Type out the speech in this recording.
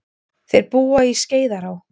Þeir búa til Skeiðará.